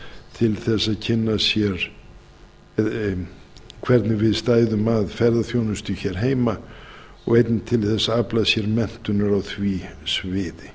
til þess að kynna sér hvernig við stæðum að ferðaþjónustu hér heima og einnig til að afla sér menntunar á því sviði